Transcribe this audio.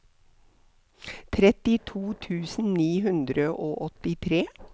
trettito tusen ni hundre og åttitre